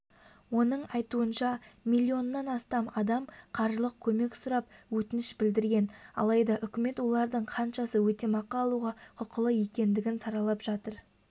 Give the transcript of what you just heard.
оның айтуынша миллионнан астам адам қаржылық көмек сұрап өтініш білдірген алайда үкімет олардың қаншасы өтемақы алуға құқылы екендігін саралап жатыр